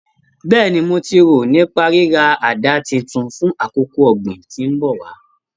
Bẹ́ẹ̀ni, mo ti rò nípa ríra àdá titun fún àkókò ọ̀gbìn tí ń bọ̀ wá